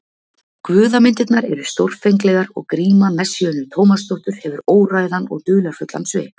Guðamyndirnar eru stórfenglegar og gríma Messíönu Tómasdóttur hefur óræðan og dularfullan svip.